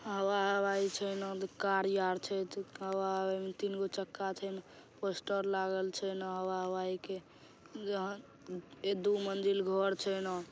हवा हवाई छै ना। कार यार छै हवा हवाई मे तीनगो चक्का छै ना पोस्टर लागल छै ना हवा हवाई के यह दू मंजिल घर छै ना ।